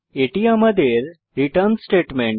এটি আমাদের return statement